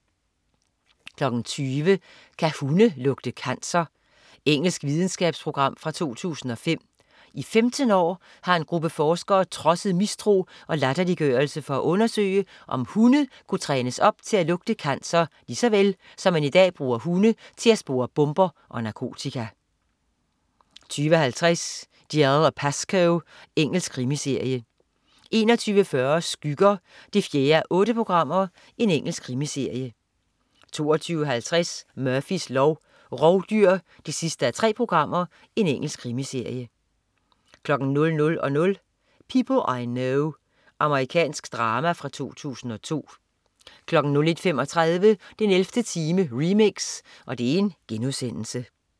20.00 Kan hunde lugte cancer? Engelsk videnskabsprogram fra 2005. I 15 år har en gruppe forskere trodset mistro og latterliggørelse for at undersøge, om hunde kunne trænes op til at lugte cancer lige så vel, som man i dag bruger hunde til at spore bomber og narkotika 20.50 Dalziel & Pascoe. Engelsk krimiserie 21.40 Skygger 4:8. Engelsk krimiserie 22.50 Murphys lov: Rovdyr 3:3. Engelsk krimiserie 00.00 People I Know. Amerikansk drama fra 2002 01.35 den 11. time remix*